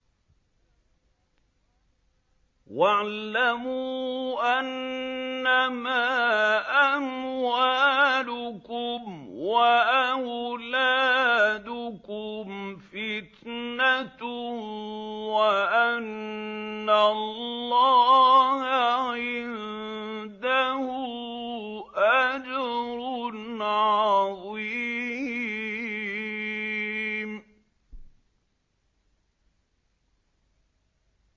وَاعْلَمُوا أَنَّمَا أَمْوَالُكُمْ وَأَوْلَادُكُمْ فِتْنَةٌ وَأَنَّ اللَّهَ عِندَهُ أَجْرٌ عَظِيمٌ